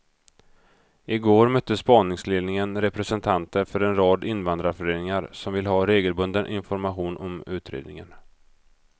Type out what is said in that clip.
I går mötte spaningsledningen representanter för en rad invandrarföreningar som vill ha regelbunden information om utredningen.